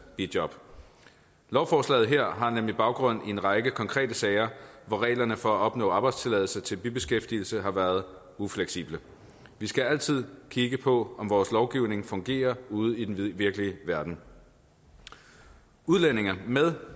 bijob lovforslaget her har nemlig baggrund i en række konkrete sager hvor reglerne for at opnå arbejdstilladelse til bibeskæftigelse har været ufleksible vi skal altid kigge på om vores lovgivning fungerer ude i den virkelige verden udlændinge med